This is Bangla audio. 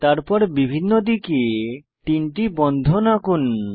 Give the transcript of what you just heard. তারপর বিভিন্ন দিকে তিনটি বন্ধন আঁকুন